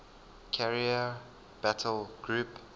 carrier battle group